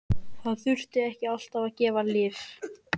Það þarf ekki alltaf að gefa lyf.